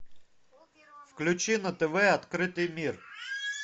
включи на тв открытый мир